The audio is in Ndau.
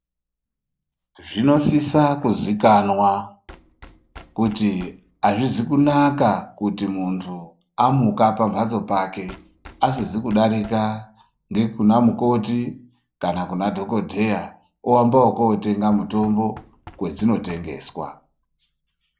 Zvinosisa kuzikanwa kuti azvizi kunaka kuti muntu amuka pambatso pake asizi kudarika ngekunamukoti kana kunadhokodheya oamba ekotenga mutombo kwadzino tengeswa.